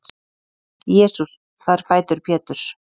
jesús þvær fætur péturs